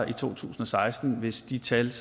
i to tusind og seksten hvis de tal